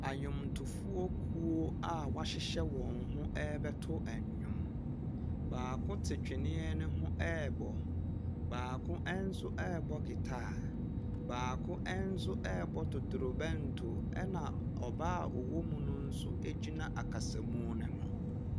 Adwomtofoɔ kuo a wɔahyehyɛ wɔn ho rebɛto nnwom. Baako te twene no ho rebɔ. Baako nso rebɔ guitar. Baako nso rebɔ totorobɛnto, ɛnna ɔbaa a ɔwɔ mu no nso gyina ɔkasamu no ho.